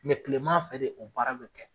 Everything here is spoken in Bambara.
Mɛ kilema fɛ de o baara be kɛ